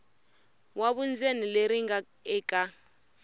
wa vundzeni leri nga eka